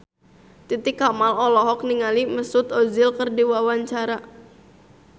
Titi Kamal olohok ningali Mesut Ozil keur diwawancara